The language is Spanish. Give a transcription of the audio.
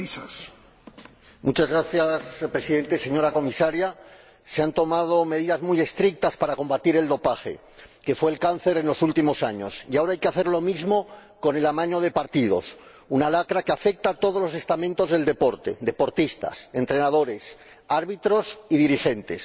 Señor Presidente, señora Comisaria, se han tomado medidas muy estrictas para combatir el dopaje, que fue el cáncer en los últimos años, y ahora hay que hacer lo mismo con el amaño de partidos, una lacra que afecta a todos los estamentos del deporte deportistas, entrenadores, árbitros y dirigentes.